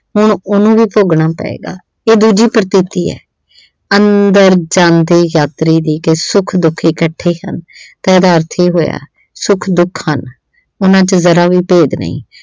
ਹੁਣ ਉਹਨੂੰ ਵੀ ਭੋਗਣਾ ਪਏਗਾ ਇਹ ਦੂਜੀ ਪ੍ਰਕਿਰਤੀ ਆ ਅੰਦਰ ਜਾਂਦੇ ਯਾਤਰੀ ਦੀ ਕਿ ਸੁੱਖ ਦੁੱਖ ਇਕੱਠੇ ਹਨ ਤਾਂ ਉਹਦਾ ਅਰਥ ਇਹ ਹੋਇਆ ਸੁੱਖ ਦੁੱਖ ਹਨ ਉਹਨਾਂ ਚ ਜ਼ਰਾ ਵੀ ਭੇਦ ਨਹੀਂ